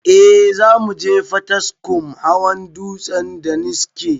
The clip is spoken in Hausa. Eh zamuje potiskum hawa dutsen daniski